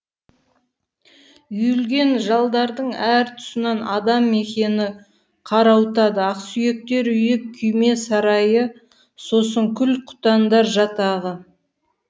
үйілген жалдардың әр тұсынан адам мекені қарауытады ақсүйектер үйі күйме сарайы сосын құл құтандар жатағы